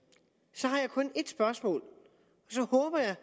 så har jeg kun et spørgsmål og så håber jeg